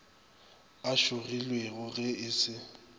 o šogilwego ge e se